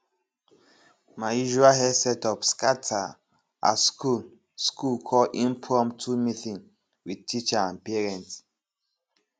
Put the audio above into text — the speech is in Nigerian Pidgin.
my usual hair setup scatter as school school call impromptu meeting with teacher and parent